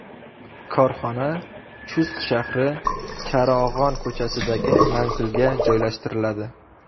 Korxona Chust shahri, Charog‘on ko‘chasidagi manzilga joylashtiriladi.